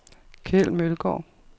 Keld Mølgaard